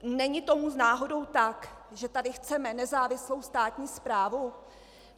Není tomu náhodou tak, že tady chceme nezávislou státní správu?